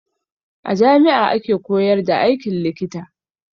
A jami'a ake koyar da aikin likita.